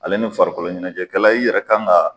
Ale ni farikoloɲɛnɛjɛkɛla i yɛrɛ kan ga